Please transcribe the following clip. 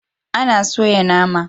An soya nama.